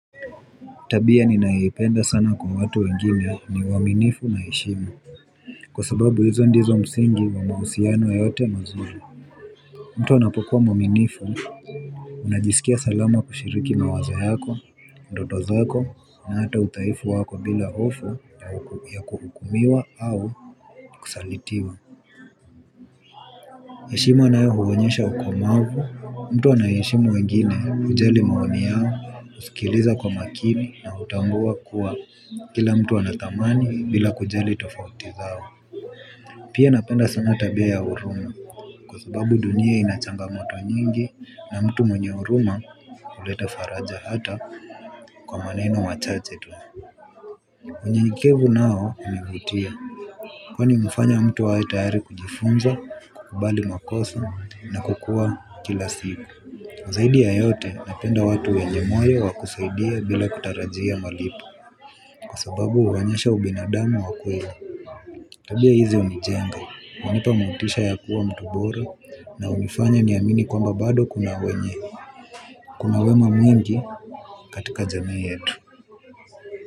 Tabia ninayoipenda sana kwa watu wengine ni uaminifu na heshima. Kwa sababu hizo ndizo msingi wa mahusiano yoyote mazuri. Mtu anapokuwa mwaminifu unajisikia salama kushiriki mawazo yako, ndoto zako na hata udhaifu wako bila hofu ya kuhukumiwa au kusalitiwa. Heshima nayo huonyesha ukomavu, mtu anayeheshimu wengine kujali maoni yao, uskiliza kwa makini na utambua kuwa kila mtu anathamani bila kujali tofauti zao. Pia napenda sana tabia ya huruma kwa sababu dunia inachangamoto nyingi na mtu mwenye huruma huleta faraja hata kwa maneno machache tu. Unyenyekevu nao hunivutia kwani humfanya mtu awe tayari kujifunza, kubali makosa na kukua kila siku. Zaidi ya yote napenda watu wenye moyo wakusaidia bila kutarajia malipo kwa sababu uonyesha ubinadamu wa kweli tabia hizi unijenga hunipa motisha ya kuwa mtu bora na unifanya ni amini kwamba bado kuna wenye kuna wema mwingi katika jamii yetu.